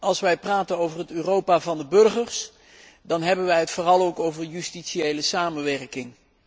Als wij praten over het Europa van de burgers, dan hebben wij het vooral ook over justitiële samenwerking.